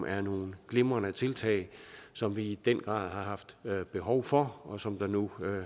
er nogle glimrende tiltag som vi i den grad har haft behov for og som der nu